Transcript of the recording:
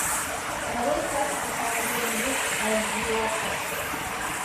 нарой хатико самый верный друг аш ди окко